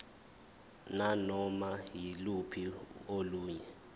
nanoma yiluphi olunye